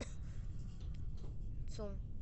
цу